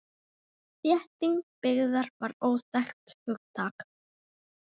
Þétting byggðar var óþekkt hugtak.